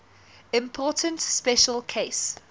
important special case